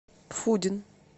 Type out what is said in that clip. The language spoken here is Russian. фудин